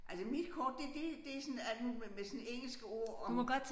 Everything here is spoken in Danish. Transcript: Altså mit kort det det det sådan alt muligt med med sådan engelske ord og